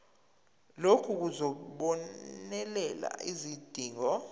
lokhu kuzobonelela izidingo